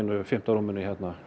fimmta rúminu